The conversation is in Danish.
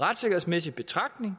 retssikkerhedsmæssig betragtning